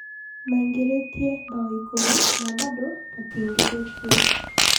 Maĩngĩrĩtie mbao ĩkũmi na bado matiingĩrĩtio.